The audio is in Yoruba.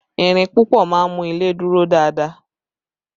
Ìrìn púpọ̀ máa ń mú ilé dúró dáadáa